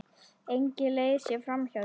Engin leið sé framhjá því.